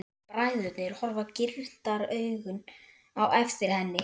Bræðurnir horfa girndaraugum á eftir henni.